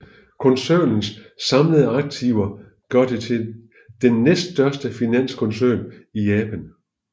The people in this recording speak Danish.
Koncernens samlede aktiver gør det til den næststørste finanskoncern i Japan